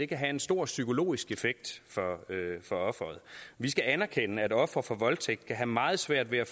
kan have en stor psykologisk effekt for offeret vi skal anerkende at ofre for voldtægt kan have meget svært ved at